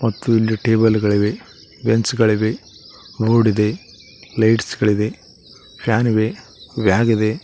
ಮತ್ತು ಇಲ್ಲಿ ಟೇಬಲ್ ಗಳಿವೆ ವೆಂಚಗಳಿವೆ ಬೋರ್ಡ್ ಇದೆ ಲೈಟ್ಸ್ ಗಳಿದೆ ಫ್ಯಾನ್ ಇವೆ ವ್ಯಾಗ್ ಇದೆ.